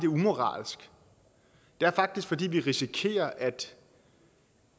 umoralsk det er faktisk fordi vi risikerer